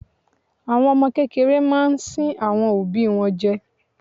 Àwọn ọmọ kékeré máa ń sín àwọn òbí wọn jẹ.